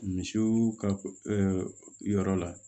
Misiw ka yɔrɔ la